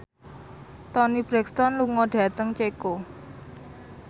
Toni Brexton lunga dhateng Ceko